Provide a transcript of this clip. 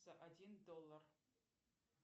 за один доллар